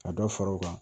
Ka dɔ fara u kan